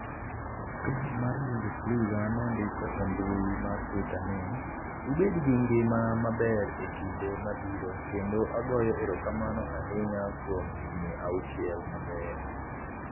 Klab mar Bundesliga nondiko e mbui mar Twitter ni: "Ubed gi ngima maber e kinde mabiro kendo agoyo erokamano ahinya kuom higni auchiel mabeyo."